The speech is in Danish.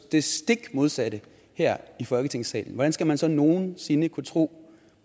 det stik modsatte her i folketingssalen hvordan skal man sådan nogen sinde kunne tro